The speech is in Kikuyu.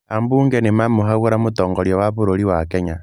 Aambunge nĩ mamũhagũra mũtongoria wa bũrũri wa Kenya.